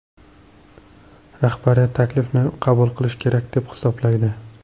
Rahbariyat taklifni qabul qilish kerak deb hisoblaydi.